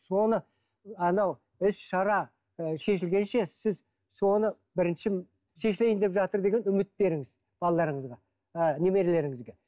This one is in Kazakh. соны анау іс шара ы шешілгенше сіз соны бірінші шешілейін деп жатыр деген үміт беріңіз балаларыңызға ы немерелеріңізге